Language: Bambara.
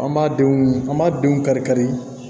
An b'a denw an b'a denw kari-kari